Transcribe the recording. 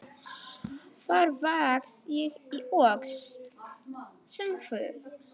Þar var ég í Öxl sem þú.